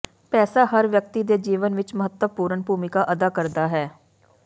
ਪੈਸਾ ਹਰ ਵਿਅਕਤੀ ਦੇ ਜੀਵਨ ਵਿੱਚ ਮਹੱਤਵਪੂਰਣ ਭੂਮਿਕਾ ਅਦਾ ਕਰਦਾ ਹੈ